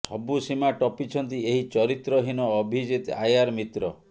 ସବୁ ସୀମା ଟପିଛନ୍ତି ଏହି ଚରିତ୍ର ହୀନ ଅଭିଜିତ ଆୟାର ମିତ୍ର